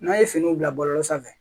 N'a ye finiw bila bɔlɔlɔ sanfɛ